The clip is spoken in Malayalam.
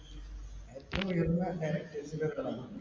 ഏറ്റവും ഉയരുന്ന directors ൽ ഒരാളാണ്.